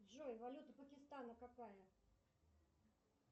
джой валюта пакистана какая